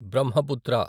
Brahmaputra